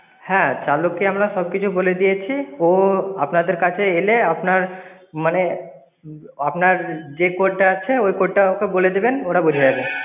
হ্যাঁ, চালককে আমরা সবকিছু বলে দিয়েছি। ও আপনাদের কাছে এলে আপনার মানে যে code টা আছে ওই code টা ওকে বলে দেবেন. ওরা বুঝে নেবে।